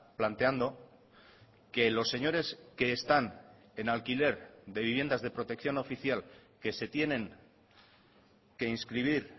planteando que los señores que están en alquiler de viviendas de protección oficial que se tienen que inscribir